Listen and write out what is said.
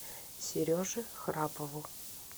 сереже храпову